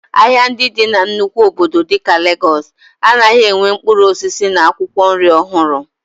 Ahịa ndị dị na nnukwu obodo dịka Legọọs anaghị enwe mkpụrụ osisi na akwụkwọ nri ọhụrụ